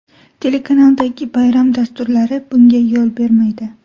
Telekanaldagi bayram dasturlari bunga yo‘l bermaydi.